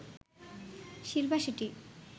Shilpa Shetty